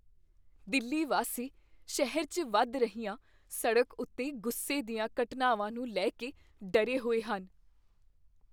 ਦਿੱਲੀ ਵਾਸੀ ਸ਼ਹਿਰ 'ਚ ਵਧ ਰਹੀਆਂ ਸੜਕ ਉੱਤੇ ਗੁੱਸੇ ਦੀਆਂ ਘਟਨਾਵਾਂ ਨੂੰ ਲੈ ਕੇ ਡਰੇ ਹੋਏ ਹਨ।